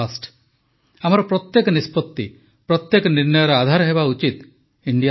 ଆମର ପ୍ରତ୍ୟେକ ନିଷ୍ପତି ପ୍ରତ୍ୟେକ ନିର୍ଣ୍ଣୟର ଆଧାର ହେବା ଉଚିତ ଇଣ୍ଡିଆ ଫାଷ୍ଟ୍